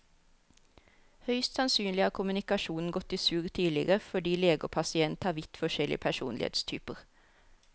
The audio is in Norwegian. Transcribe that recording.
Høyst sannsynlig har kommunikasjonen gått i surr tidligere fordi lege og pasient har vidt forskjellig personlighetstyper.